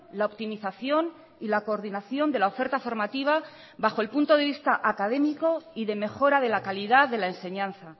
la optimización y la coordinación de la oferta formativa bajo el punto de vista académico y de mejora de la calidad de la enseñanza